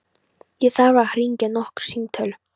Ég þarf að hringja nokkur símtöl.